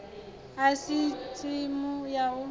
a si tsimu ya u